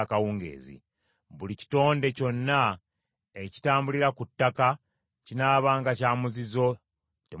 “Buli kitonde kyonna ekitambulira ku ttaka kinaabanga kya muzizo, temuukiryenga.